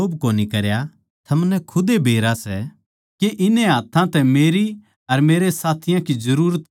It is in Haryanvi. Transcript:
थमनै खुदे बेरा सै के इन्ने हाथ्थां नै मेरी अर मेरे साथियाँ की जरूरत पूरी करी सै